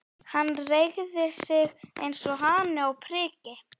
Hann reigði sig eins og hani á priki.